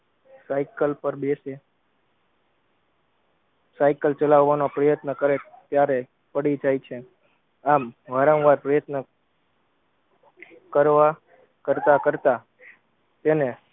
cycle પર બેસે cycle ચલાવવાના પ્રયત્ન કરે ત્યારે પડી જાય છે આમ વારમ વાર પ્રયત્ન કરવા કરતા કરતા તેને